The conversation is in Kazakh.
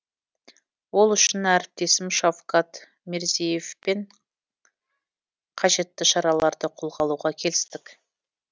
ол үшін әріптесім шавкат мирзиевпен қажетті шараларды қолға алуға келістік